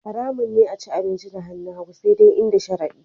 Haramun ne a ci abinci da hannun hagu sai dai in da sharadi